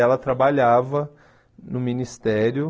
Ela trabalhava no Ministério.